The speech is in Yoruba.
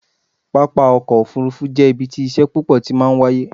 pápá ọkọ̀ òfurufú jẹ́ ibi tí iṣẹ́ púpọ̀ ti máa ń wáyé